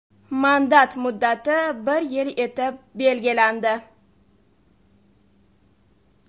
Mandat muddati bir yil etib belgilandi.